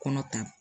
Kɔnɔ ta